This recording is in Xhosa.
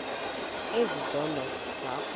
ezi zono zakho